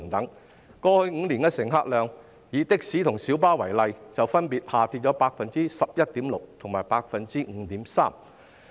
它們在過去5年的乘客量，以的士及小巴為例，分別下跌了 11.6% 及 5.3%。